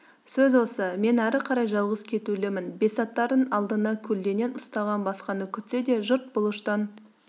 сөз осы мен әрі қарай жалғыз кетулімін бесатарын алдына көлденең ұстаған басқаны күтсе де жұрт бұлыштан